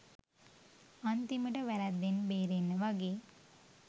අන්තිමට වැරැද්දෙන් බේරෙන්න වගේ